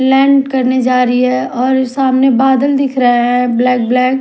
land करने जा रही है और सामने बदल दिख रहे हैं ब्लैक ब्लैक --